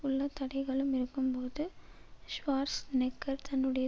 உள்ள தடைகளும் இருக்கும்போது ஷ்வார்ஸ்நெக்கர் தன்னுடைய